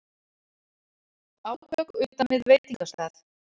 Átök utan við veitingastað